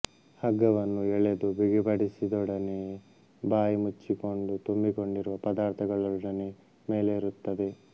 ಹಗ್ಗವನ್ನು ಎಳೆದು ಬಿಗಿಪಡಿಸಿದೊಡನೆಯೇ ಬಾಯಿ ಮುಚ್ಚಿಕೊಂಡು ತುಂಬಿಕೊಂಡಿರುವ ಪದಾರ್ಥಗಳೊಡನೆ ಮೇಲೇರುತ್ತದೆ